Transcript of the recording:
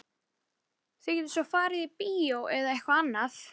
Þið getið svo farið á bíó eða eitthvað annað.